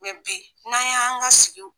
bi n'an y' an ka sigiw .